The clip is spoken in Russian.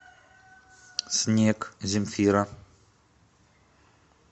снег земфира